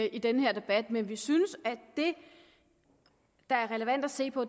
i den her debat vi vi synes at det der er relevant at se på